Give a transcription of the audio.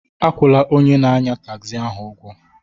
Akwụla onye na-anya tagzi ahụ ụgwọ